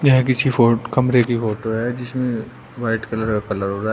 यह किसी फो कमरे की फोटो है जिसमें व्हाइट कलर का कलर हो रहा है।